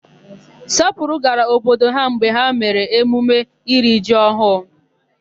Sọpụrụ gara obodo ha mgbe ha mere emume iri ji ọhụụ.